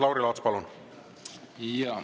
Lauri Laats, palun!